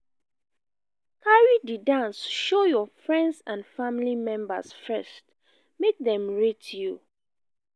carry di dance show your friends and family members first make dem rate you